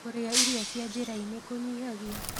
Kũrĩa irio cia njĩra-ĩnĩ kũnyĩhagĩa